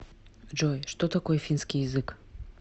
джой что такое финский язык